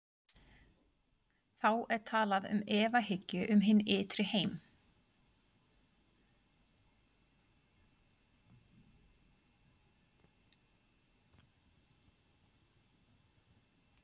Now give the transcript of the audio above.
Þá er talað um efahyggju um hinn ytri heim.